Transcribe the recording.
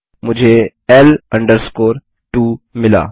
मुझे L 2 मिला